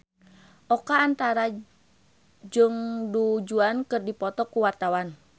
Oka Antara jeung Du Juan keur dipoto ku wartawan